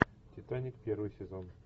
титаник первый сезон